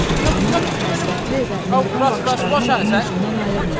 Ana həsrətli və mehriban baxışlarını oğlunun üzündən ayırmırdı.